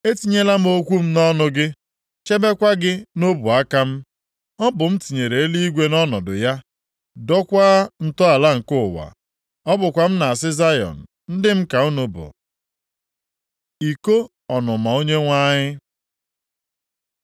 Etinyela m okwu m nʼọnụ gị, chebekwa gị nʼọbụaka m. Ọ bụ m tinyere eluigwe nʼọnọdụ ya, dokwaa ntọala nke ụwa. Ọ bụkwa m na-asị Zayọn, ‘Ndị m ka unu bụ.’ ” Iko ọnụma Onyenwe anyị